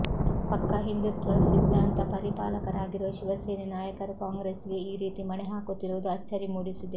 ಪಕ್ಕಾ ಹಿಂದುತ್ವ ಸಿದ್ಧಾಂತ ಪರಿಪಾಲಕರಾಗಿರುವ ಶಿವಸೇನೆ ನಾಯಕರು ಕಾಂಗ್ರೆಸ್ ಗೆ ಈ ರೀತಿ ಮಣೆ ಹಾಕುತ್ತಿರುವುದು ಅಚ್ಚರಿ ಮೂಡಿಸಿದೆ